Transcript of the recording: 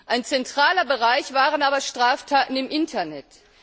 Ein zentraler Bereich waren aber Straftaten im Internet.